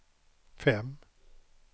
fem